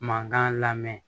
Mankan lamɛn